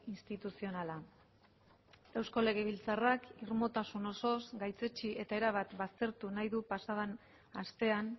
instituzionala eusko legebiltzarrak irmotasun osoz gaitzetsi eta erabat baztertu nahi du pasa den astean